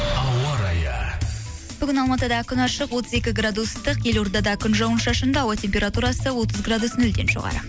ауа райы бүгін алматыда күн ашық отыз екі градус ыстық елордада күн жауын шашынды ауа температурасы отыз градус нөлден жоғары